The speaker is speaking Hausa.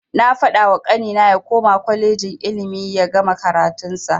Na fadawa kanina ya koma kwalejin ilimi yagama karatun sa.